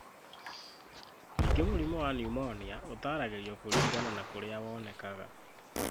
Ningĩ mũrimũ wa pneumonia ũtaaragĩrio kũringana na kũrĩa wonekaga.